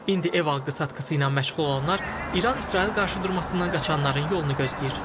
İndi ev alqı-satqısı ilə məşğul olanlar İran-İsrail qarşıdurmasından qaçanların yolunu gözləyir.